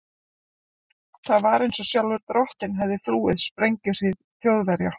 Það var einsog sjálfur drottinn hefði flúið sprengjuhríð Þjóðverja.